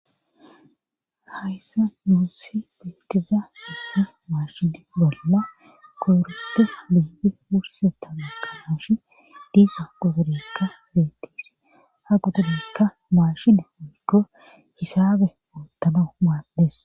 Hayssa nuussi beettiza hessa maashin bolla koorusti biibi wurse tamekka haash diisa gudurekka beettis ha gudurekka maashini oikko hisabe utana maandees